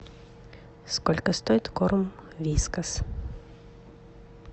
сколько стоит корм вискас